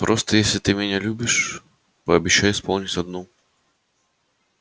просто если ты меня любишь пообещай исполнить одну